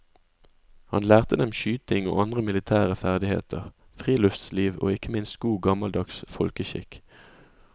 Han lærte dem skyting og andre militære ferdigheter, friluftsliv og ikke minst god gammeldags folkeskikk.